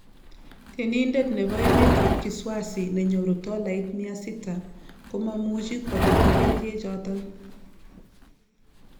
Temindet nebo emet ab Kiswazi nenyoru tollait mia sita komamuche kolipan kerichek choton